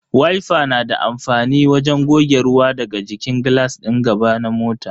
Wifa na da amfani wajen goge ruwa daga jikin glass din gaba na mota.